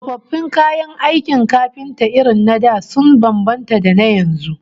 Tsofaffin kayan aikin kafinta irin na da sun bambanta da na yanzu